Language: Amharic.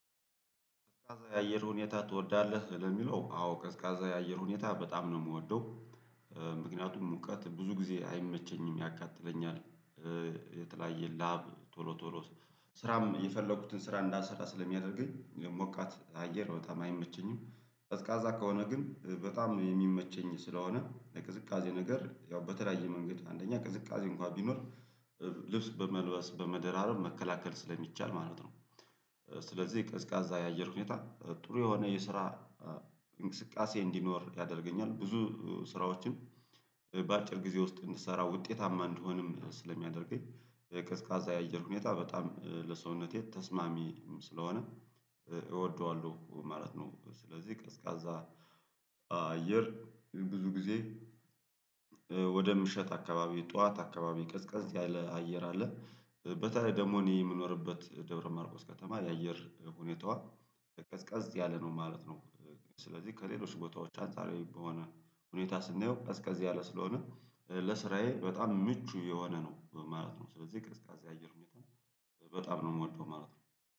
ቀዝቃዛ የአየር ሁኔታ ትወዳለ? ለሚለው አዎ ቀዝቃዛ የአየር ሁኔታ በጣም ነው የምወደው ምክንያቱም ሙቀት ብዙ ጊዜ አይመቸኝም ያቃጥለኛል የተለያየ ላብ ቶሎ ቶሎ ስራም የፈለኩትን ስራ እንዳልሰራ ስለሚያደርገኝ የሞቃት አየር በጣም አይመቸኝም፤ ቀዝቃዛ ከሆነ ግን በጣም የሚመቸኝ ስለሆነ የቅዝቃዜ ነገር ያው በተለያየ መንገድ አንደኛ ቅዝቃዜ እንኳን ቢኖር ልብስ በመልበስ በመደራረብ መከላከል ስለሚቻል ማለት ነው ስለዚህ ቀዝቃዛ የአየር ሁኔታ ጥሩ የሆነ የስራ እንቅስቃሴ እንዲኖር ያደርገኛል ብዙ ስራዎችን በአጭር ጊዜ ውስጥ እንድትሰራ ውጤታማ እንድሆንም ስለሚያደርገኝ ቀዝቃዛ የአየር ሁኔታ በጣም ለሰውነቴ ተስማሚም ስለሆነ እወደዋለሁ ማለት ነው ስለዚህ ቀዝቃዛ አየር ብዙ ጊዜ ወደ ምሽት አካባቢ ጠዋት አካባቢ ቀዝቀዝ ያለ አየር አለ፤ በተለይ ደግሞ እኔ የምኖርበት ደብረማርቆስ ከተማ የአየር ሁኔታዋ ቀዝቃዝ ያለ ነው ማለት ነው። ስለዚህ ከሌሎች ቦታዎች አንጻራዊ በሆነ ሁኔታ ስናየው ቀዝቀዝ ያለ ስለሆነ ለስራዬ በጣም ምቹ የሆነ ነው ማለት ነው ስለዚህ ቀዝቃዛ አየር ሁኔታ በጣም ነው የምወደው ማለት ነው።